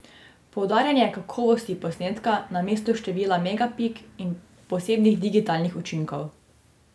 Poudarjanje kakovosti posnetka namesto števila megapik in posebnih digitalnih učinkov.